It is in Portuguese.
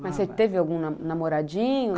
Mas você teve algum namoradinho?